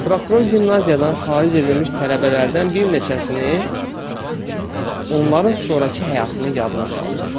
Prokuror gimnaziyadan xaric edilmiş tələbələrdən bir neçəsini onların sonrakı həyatını yadına saldı.